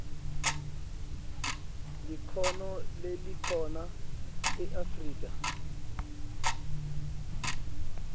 likhono lelikhona eafrika